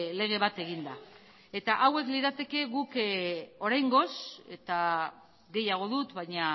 lege bat eginda eta hauek lirateke guk oraingoz eta gehiago dut baina